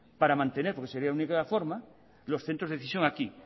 para mantener porque sería la única forma los centros de decisión aquí